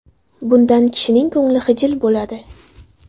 Bundan kishining ko‘ngli xijil bo‘ladi.